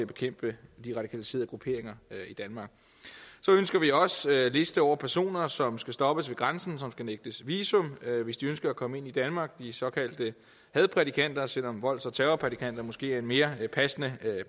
bekæmpe de radikaliserede grupperinger i danmark så ønsker vi også en liste over personer som skal stoppes ved grænsen og som skal nægtes visum hvis de ønsker at komme ind i danmark de såkaldte hadprædikanter selv om volds og terrorprædikanter måske er en mere passende